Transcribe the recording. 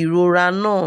ìrora náà